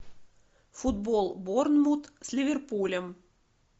футбол борнмут с ливерпулем